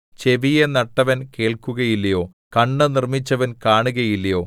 ചെവിയെ നട്ടവൻ കേൾക്കുകയില്ലയോ കണ്ണ് നിർമ്മിച്ചവൻ കാണുകയില്ലയോ